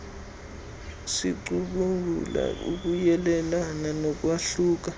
sicubungula ukuyelelana nokwahluka